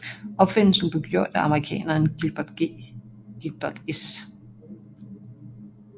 Opfindelsen blev gjort af amerikaneren Gilbert S